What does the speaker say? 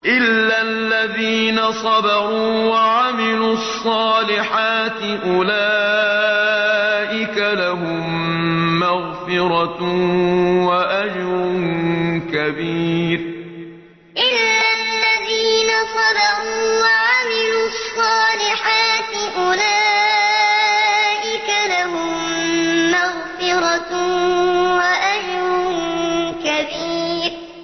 إِلَّا الَّذِينَ صَبَرُوا وَعَمِلُوا الصَّالِحَاتِ أُولَٰئِكَ لَهُم مَّغْفِرَةٌ وَأَجْرٌ كَبِيرٌ إِلَّا الَّذِينَ صَبَرُوا وَعَمِلُوا الصَّالِحَاتِ أُولَٰئِكَ لَهُم مَّغْفِرَةٌ وَأَجْرٌ كَبِيرٌ